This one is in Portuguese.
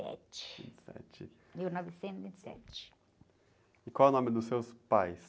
sete.inte e sete.il novecentos e vinte e sete. qual o nome dos seus pais?